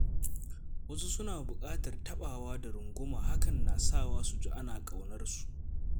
Wasu suna buƙatar taɓawa da runguma hakan na sawa su ji ana ƙaunar su